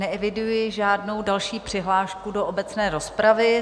Neeviduji žádnou další přihlášku do obecné rozpravy.